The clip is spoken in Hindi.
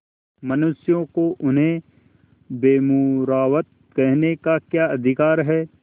मनुष्यों को उन्हें बेमुरौवत कहने का क्या अधिकार है